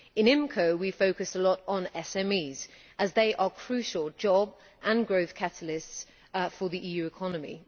In IMCO we focus a lot on SMEs, as they are crucial job and growth catalysts for the EU economy.